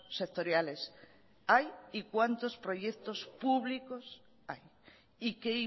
sectoriales hay y cuántos proyectos públicos hay y qué